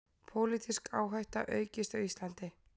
Pólitísk áhætta aukist á Íslandi